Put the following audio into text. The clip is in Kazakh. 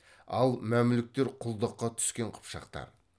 ал мәмлүктер құлдыққа түскен қыпшақтар